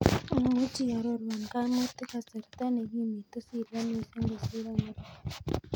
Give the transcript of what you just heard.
Imuchi iarorwan kaimutik kasarta ne kimitu syria mising kosiir america